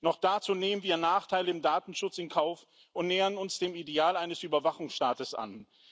Noch dazu nehmen wir Nachteile im Datenschutz in Kauf und nähern uns dem Ideal eines Überwachungsstaats an.